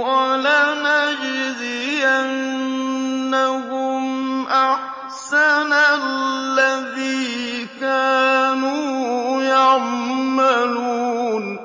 وَلَنَجْزِيَنَّهُمْ أَحْسَنَ الَّذِي كَانُوا يَعْمَلُونَ